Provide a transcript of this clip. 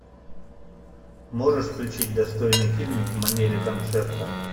можешь включить достойный фильмик в манере концерта